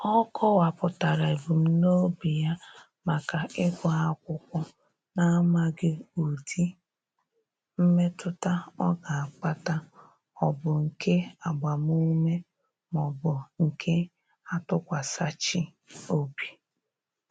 Ọ kọwapụtara ebumnobi ya maka ịgụ akwụkwọ na-amaghị ụdị mmetụta ọ ga-akpata ọ bụ nke agbamume maọbụ nke atụkwasachị obi.